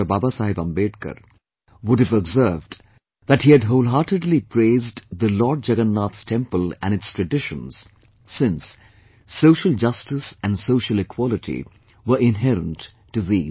Baba Saheb Ambedkar, would have observed that he had wholeheartedly praised the Lord Jagannath temple and its traditions, since, social justice and social equality were inherent to these